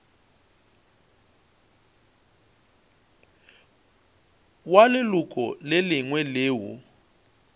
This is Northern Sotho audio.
wa leloko le lengwe leo